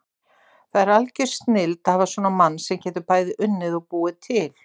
Það er algjör snilld að hafa svona mann sem getur bæði unnið og búið til.